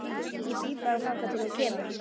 Ég bíð bara þangað til hún kemur.